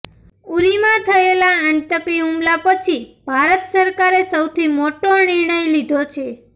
ઉરીમાં થયેલા આતંકી હૂમલા પછી ભારત સરકારે સૌથી મોટો નિર્ણય લીધો છે